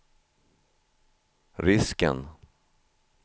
risken